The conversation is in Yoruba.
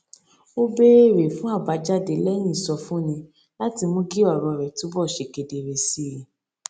ó béèrè fún àbájáde léyìn ìsọfúnni láti mú kí òrò rè túbò ṣe kedere si i